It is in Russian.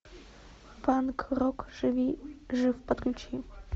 панк рок жив подключи